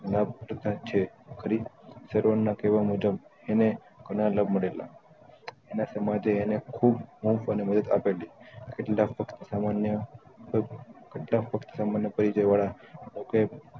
લાભ તથા છે ખરી સર્વળના કેવા મુજબ એને મરેલા એના સામાજે એને ખુબ અને મદદ આપેલી એટલે લગભગ સામાન્ય કહો કેહ